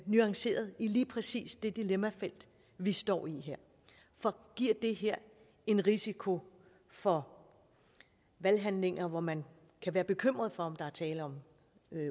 nuanceret i lige præcis det dilemmafelt vi står i her for giver det her en risiko for valghandlinger hvor man kan være bekymret for om der er tale om